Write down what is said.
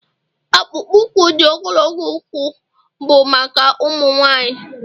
akpụkpọ ụkwụ di ogologo ụkwụ bụ maka ụmụ nwanyị